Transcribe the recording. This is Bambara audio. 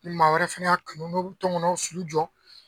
Ni maa wɛrɛ fɛnɛ y'a kanu n'o bɛ tɔnkɔnɔw sulu jɔ